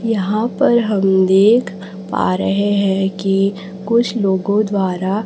यहां पर हम देख पा रहे हैं की कुछ लोगों द्वारा--